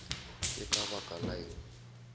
ke ka baka la eng